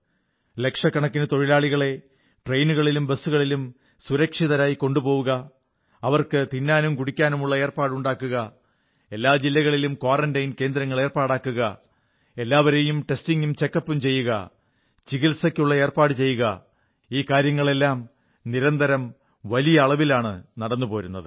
ലക്ഷക്കണക്കിന് തൊഴിലാളികളെ ട്രെയിനുകളിലും ബസ്സുകളിലും സുരക്ഷിതരായി കൊണ്ടുപോവുക അവർക്ക് തിന്നാനും കുടിക്കാനുമുള്ള ഏർപ്പാടുകളുണ്ടാക്കുക എല്ലാ ജില്ലകളിലും ക്വാറന്റൈൻ കേന്ദ്രങ്ങൾ ഏർപ്പാടാക്കുക എല്ലാവരെയും ടെസ്റ്റിംഗും ചെക്കപ്പും ചെയ്യുക ചികിത്സയ്ക്കുള്ള ഏർപ്പാടു ചെയ്യുക ഈ കാര്യങ്ങളെല്ലാം നിരന്തരം വലിയ അളവിലാണ് നടന്നുപോരുന്നത്